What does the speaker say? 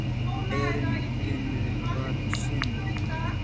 Erindinu var synjað.